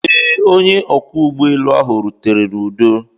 Ee, onye ọkwọ ụgbọelu ahụ rutere n'udo.